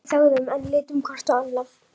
Við þögðum enn, litum hvort á annað.